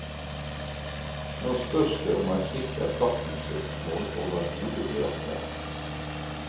Nå spørs det om et slikt erstatningssøksmål overhode blir aktuelt.